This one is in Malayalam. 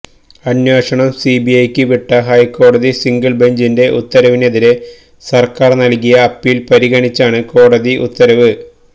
അന്വേഷണം സിബിഐക്ക് വിട്ട ഹൈക്കോടതി സിംഗിൾ ബഞ്ചിന്റെ ഉത്തരവിനെതിരെ സർക്കാർ നൽകിയ അപ്പീൽ പരിഗണിച്ചാണ് കോടതി ഉത്തരവ്